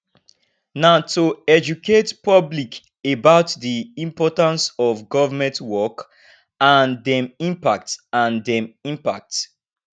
na to educate public about di importance of government work and dem impacts and dem impacts